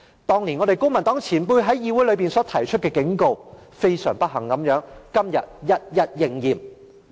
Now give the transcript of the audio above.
當年公民黨前輩在議會內提出的警告，非常不幸地，今天一一應驗。